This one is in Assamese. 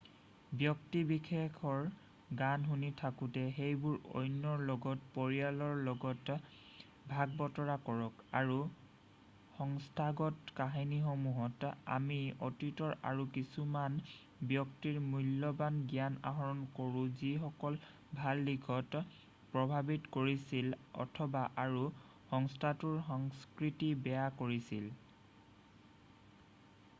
ব্যক্তি বিশেষৰ গান শুনি থাকোঁতে সেইবোৰ অন্যৰ লগত পৰিয়ালৰ লগত ভাগবতৰা কৰক আৰু সংস্থাগত কাহিনীসমূহত আমি অতীতৰ আৰু কিছুমান ব্যক্তিৰ মূল্যবান জ্ঞান আহৰণ কৰোঁ যিসকল ভাল দিশত প্ৰভাৱিত কৰিছিল অথবা আৰু সংস্থাটোৰ সংস্কৃতি বেয়া কৰিছিল